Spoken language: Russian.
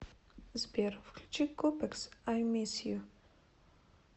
сбер включи купекс ай мисс ю